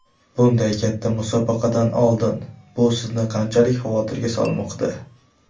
Bunday katta musobaqadan oldin bu sizni qanchalik xavotirga solmoqda?